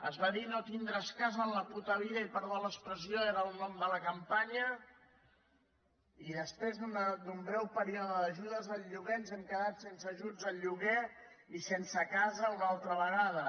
es va dir no tindràs casa en la puta vida i perdó per l’expressió era el nom de la campanya i després d’un breu període d’ajudes al lloguer ens hem quedat sense ajuts al lloguer i sense casa una altra vegada